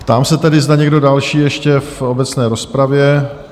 Ptám se tedy, zda někdo další ještě v obecné rozpravě?